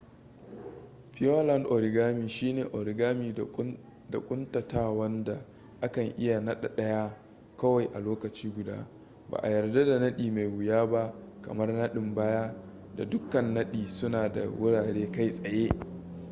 pureland origami shi ne origami da ƙuntatawan da akan iya nadi daya kawai a lokaci guda ba a yarda da nadi mai wuya ba kamar nadin baya da dukkan nadi suna da wurare kai tsaye